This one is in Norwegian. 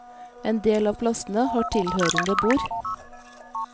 En del av plassene har tilhørende bord.